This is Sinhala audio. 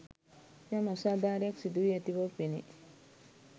යම් අසාදාරයක් සිදු වී අති බව පෙනේ.